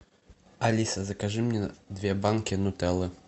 алиса закажи мне две банки нутеллы